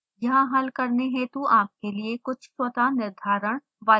यहाँ हल करने हेतु आपके लिए कुछ स्वतः निर्धारण वाले प्रश्न हैं